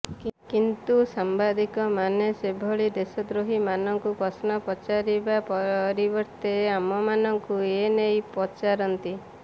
କିନ୍ତୁ ସାମ୍ବାଦିକମାନେ ସେଭଳି ଦେଶଦ୍ରୋହୀମାନଙ୍କୁ ପ୍ରଶ୍ନ ପଚାରିବା ପରିବର୍ତ୍ତେ ଆମମାନଙ୍କୁ ଏ ନେଇ ପଚାରନ୍ତି